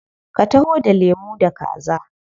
Ka taho da lemu da kaza.